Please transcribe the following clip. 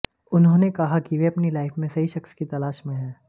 उन्होंने कहा कि वे अपनी लाइफ में सही शख़्स की तलाश में हैं